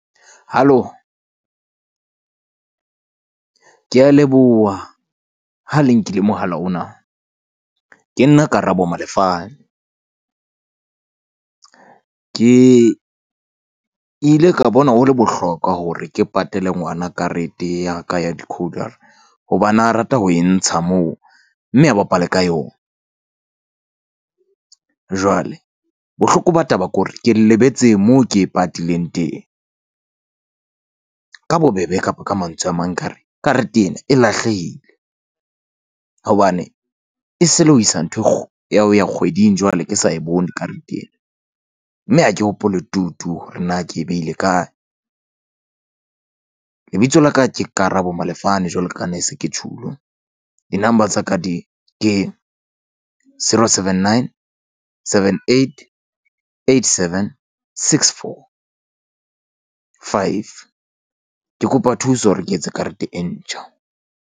Halo, ke a leboha ha le nkile mohala ona. Ke nna Karabo Malefane. Ke ke ile ka bona ho le bohlokwa hore ke patale ngwana karete ya ka ya hobane a rata ho e ntsha moo mme a bapale ka yona. Jwale bohloko ba taba ko re ke lebetse moo ke e patileng teng. Ka bobebe, kapa ka mantswe a mang, ka re karete ena e lahlehile hobane e se le ho isa nthwe ya ho ya kgweding jwale ke sa e bone karete ena. Mme ha ke hopole tutu hore na ke behile kae. Lebitso la ka ke Karabo Malefane jwalo ka ne se ke tjholo di-number tsa ka di ke zero seven, nine, seven, eight, eight, seven, six, four, five. Ke kopa thuso hore ke etse karete e ntjha.